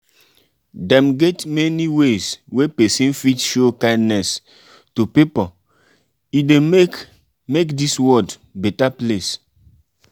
dem get many ways wey persin fit show kindness to pipo e de make make dis world better place